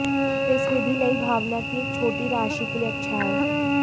इस विधि नई भावना की एक छोटी राशि के लिए अच्छा है